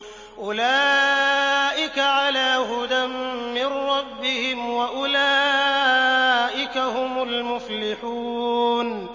أُولَٰئِكَ عَلَىٰ هُدًى مِّن رَّبِّهِمْ ۖ وَأُولَٰئِكَ هُمُ الْمُفْلِحُونَ